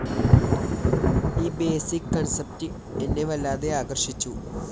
ഈ basic concept എന്നെ വല്ലാതെ ആകര്‍ഷിച്ചു